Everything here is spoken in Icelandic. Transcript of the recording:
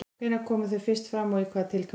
Hvenær komu þau fyrst fram og í hvaða tilgangi?